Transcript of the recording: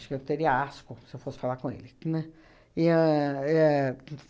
Acho que eu teria asco se eu fosse falar com ele. Que, né? É a éh